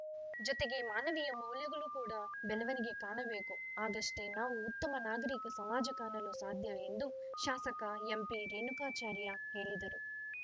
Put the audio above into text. ಜೊತೆಗೆ ಮಾನವೀಯ ಮೌಲ್ಯಗಳು ಕೂಡಾ ಬೆಳವಣಿಗೆ ಕಾಣಬೇಕು ಆಗಷ್ಟೇ ನಾವು ಉತ್ತಮ ನಾಗರಿಕ ಸಮಾಜ ಕಾಣಲು ಸಾಧ್ಯ ಎಂದು ಶಾಸಕ ಎಂಪಿರೇಣುಕಾಚಾರ್ಯ ಹೇಳಿದರು